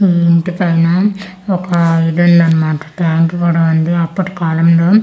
EE ఇంటి పైన ఒక ఇది ఉందన్నమాట టాంక్ కూడా ఉంది అప్పటి కాలంలో సి--